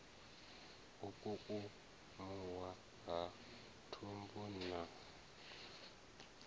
u kukumuwa ha thumbu na